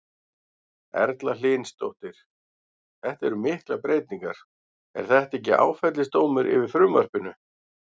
Erla Hlynsdóttir: Þetta eru miklar breytingar, er þetta ekki áfellisdómur yfir frumvarpinu?